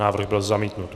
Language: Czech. Návrh byl zamítnut.